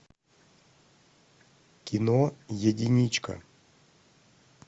кино единичка